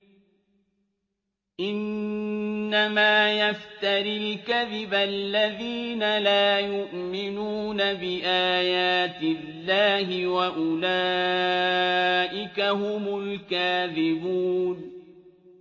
إِنَّمَا يَفْتَرِي الْكَذِبَ الَّذِينَ لَا يُؤْمِنُونَ بِآيَاتِ اللَّهِ ۖ وَأُولَٰئِكَ هُمُ الْكَاذِبُونَ